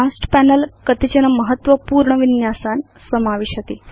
advanced panel कतिचन महत्त्वपूर्ण विन्यासान् समाविशति